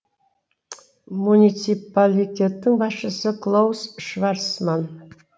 муниципалитеттің басшысы клаус шварцман